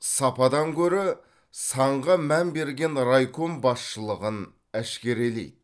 сападан гөрі санға мән берген райком басшылығын әшкерелейді